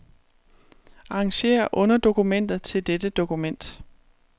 Arrangér underdokumenter til dette dokument.